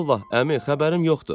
Vallah, əmi, xəbərim yoxdur.